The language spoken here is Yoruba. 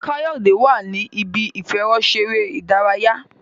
Kayode wá ní Ibi ìfẹ̀rọṣeré ìdárayá